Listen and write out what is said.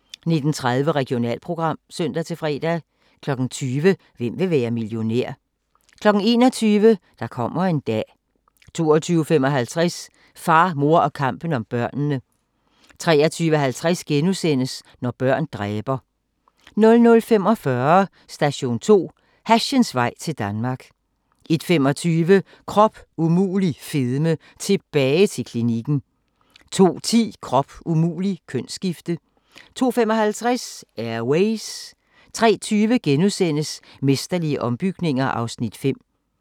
19:30: Regionalprogram (søn-fre) 20:00: Hvem vil være millionær? 21:00: Der kommer en dag 22:55: Far, mor og kampen om børnene 23:50: Når børn dræber * 00:45: Station 2: Hashens vej til Danmark 01:25: Krop umulig fedme – tilbage til klinikken 02:10: Krop umulig - kønsskifte 02:55: Air Ways 03:20: Mesterlige ombygninger (Afs. 5)*